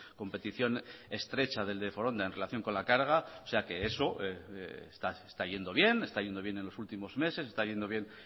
competición estrecha del de foronda en relación con la carga o sea que eso está yendo bien está yendo bien en los últimos meses está yendo bien